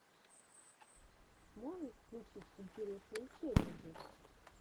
можешь включить интересные челленджи